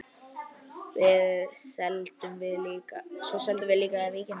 Svo seldum við líka Vikuna.